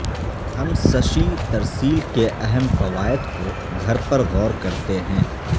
ہم سشی ترسیل کے اہم فوائد کو گھر پر غور کرتے ہیں